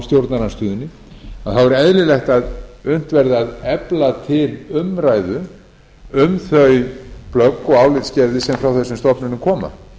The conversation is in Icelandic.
stjórnarandstöðunni þá er eðlilegt að unnt verði að efna til umræðu um þau plögg og álitsgerðir sem frá þessum stofnunum koma